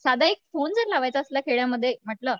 साधा एक फोन जर लावायचा असला खेड्यांमध्ये म्हटलं